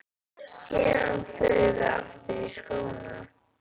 Síðan förum við aftur í skóna.